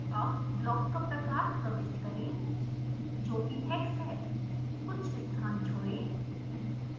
अब block का प्रकार प्रविष्ट करें जोकि hex है कुछ स्थान छोड़ें